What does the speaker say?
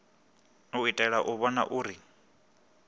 u itela u vhona uri